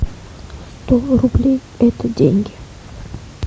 сто рублей это деньги